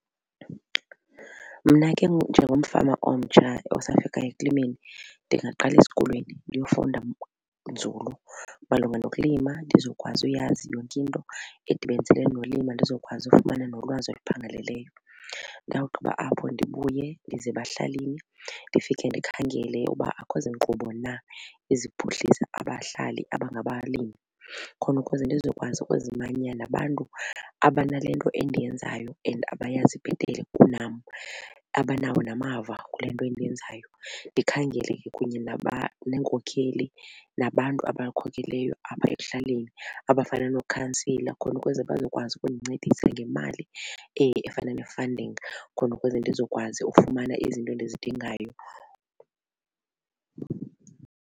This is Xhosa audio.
Mna ke njengomfama omtsha osafikayo ekulimeni ndingaqala esikolweni ndiyofunda nzulu malunga nokulima ndizokwazi uyazi yonke into edibaniselene nolimo ndizokwazi ufumana nolwazi oluphangaleleyo. Ndawugqiba apho ndibuye ndize ebahlalini ndifike ndikhangele uba akukho zinkqubo na eziphuhlisa abahlali aba ngabalimi khona ukuze ndizokwazi ukuzimanya nabantu abanale nto endiyenzayo and abayazi bhetele kunam abanawo namava kule nto endiyenzayo. Ndikhangele kunye neenkokheli, nabantu abakhokeleyo apha ekuhlaleni abafana noo-councillor khona ukuze bazokwazi ukundincedisa ngemali efana ne-funding khona ukuze ndizokwazi ufumana izinto endizidingayo.